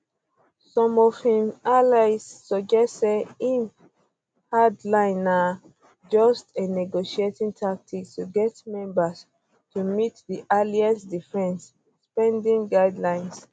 some um of im im allies suggest say im hard line na just a um negotiating tactic to get members to meet di alliance defence spending guidelines